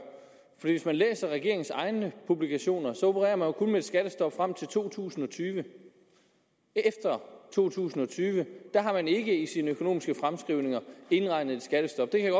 for hvis man læser regeringens egne publikationer opererer regeringen kun med et skattestop frem til to tusind og tyve efter to tusind og tyve er der ikke i regeringens økonomiske fremskrivninger indregnet et skattestop det kan